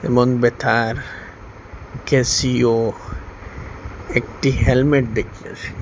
মনবেথার Casio একটি helmet দেখিতাসি।